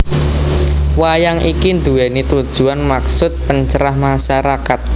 Wayang iki nduwèni tujuwan maksud pencerah masyarakat